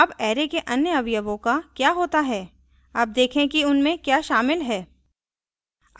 अब array के array अवयवों का क्या होता है अब देखें कि उनमें क्या शामिल है